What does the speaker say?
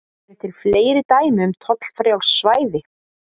Eru til fleiri dæmi um tollfrjáls svæði?